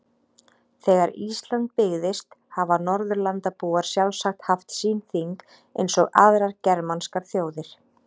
Þegar Ísland byggðist hafa Norðurlandabúar sjálfsagt haft sín þing eins og aðrar germanskar þjóðir.